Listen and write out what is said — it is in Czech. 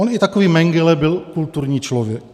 On i takový Mengele byl kulturní člověk.